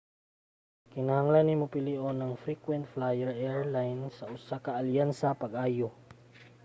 kinahanglan nimo pilion imong frequent flyer airline sa usa ka alyansa pag-ayo